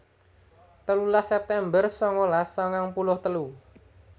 telulas september sangalas sangang puluh telu